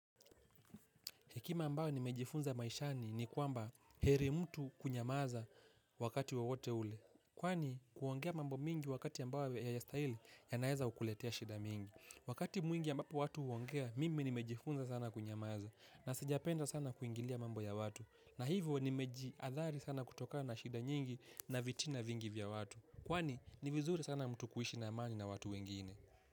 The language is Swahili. Hekima ambao nimejifunza maishani ni kwamba heri mtu kunyamaza wakati wowote ule. Kwani kuongea mambo mingi wakati mbao hayastaili ya naweza kukuletea shida mingi. Wakati mwingi ambapo watu huongea mimi nimejifunza sana kunyamaza na sijapenda sana kuingilia mambo ya watu. Na hivyo nimeji athari sana kutoka na shida nyingi na vitina vingi vya watu. Kwani nivizuri sana mtu kuishi na amani na watu wengine.